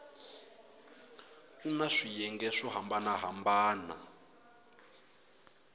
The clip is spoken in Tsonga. kuna swiyenge swo hambana hambana